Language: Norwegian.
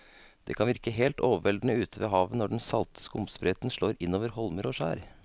Det kan virke helt overveldende ute ved havet når den salte skumsprøyten slår innover holmer og skjær.